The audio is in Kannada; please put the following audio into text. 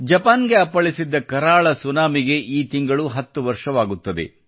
ಜಪಾನ್ಗೆ ಅಪ್ಪಳಿಸಿದ್ದ ಕರಾಳ ಸುನಾಮಿಗೆ ಈ ತಿಂಗಳಿಗೆ 10 ವರ್ಷಗಳಾಗುತ್ತವೆ